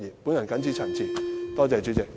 我謹此陳辭，多謝代理主席。